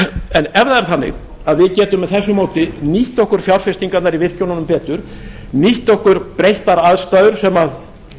en ef þetta er þannig að við getum með þessu móti nýtt okkur fjárfestingarnar í virkjununum betur nýtt okkur breyttar aðstæður sem